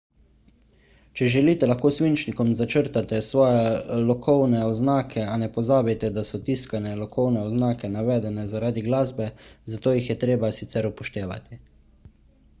če želite lahko s svinčnikom začrtate svoje lokovne oznake a ne pozabite da so tiskane lokovne oznake navedene zaradi glasbe zato jih je treba sicer upoštevati